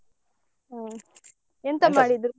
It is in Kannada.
ಹಾ ಮಾಡಿದ್ರು?